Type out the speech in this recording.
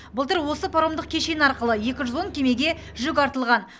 былтыр осы паромдық кешені арқылы екі жүз он кемеге жүк артылған